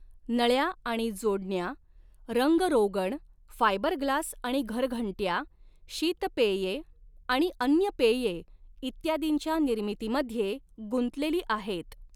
नळ्या आणि जोडण्या, रंग रोगण, फायबरग्लास आणि घरघंट्या, शीत पेये आणि अन्य पेये इत्यादींच्या निर्मितीमध्ये गुंतलेली आहेत.